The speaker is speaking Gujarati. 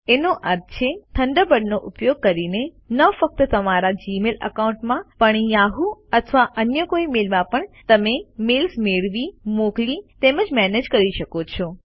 એનો અર્થ છે થન્ડરબર્ડ નો ઉપયોગ કરીને ન ફક્ત તમારા જીમેઇલ એકાઉન્ટમાં પણ યાહૂ અથવા અન્ય કોઇ મેલમાં પણ તમે મેલ્સ મેળવી મોકલી તેમજ મેનેજ કરી શકો છો